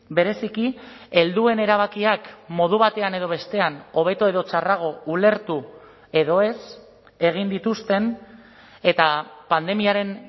bereziki helduen erabakiak modu batean edo bestean hobeto edo txarrago ulertu edo ez egin dituzten eta pandemiaren